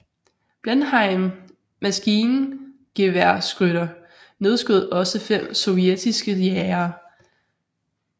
Blenheim maskingeværskytter nedskød også fem sovjetiske jagere